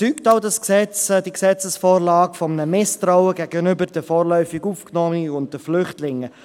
Diese Gesetzesvorlage zeugt auch von einem Misstrauen gegenüber den vorläufig Aufgenommenen und den Flüchtlingen.